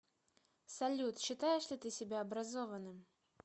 салют считаешь ли ты себя образованным